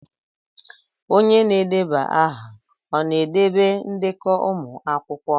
Onye na-edeba aha ọ na-edobe ndekọ ụmụ akwụkwọ?